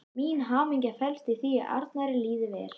Mín hamingja felst í því að Arnari líði vel.